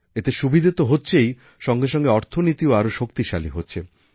এতে সুবিধা তো হচ্ছেই সঙ্গে সঙ্গে অর্থনীতিও আরও শক্তিশালী হচ্ছে